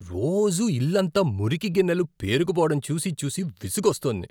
రోజూ ఇల్లంతా మురికి గిన్నెలు పేరుకుపోవడం చూసి చూసి విసుగొస్తోంది.